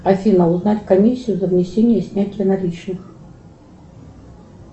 афина узнать комиссию за внесение и снятие наличных